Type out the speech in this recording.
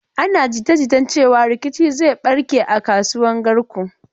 Ana jita-jitan cewan rikici zai barke a kasuwan Garko.